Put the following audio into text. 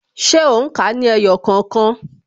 Ṣé o n ka ní ẹyọ kookan?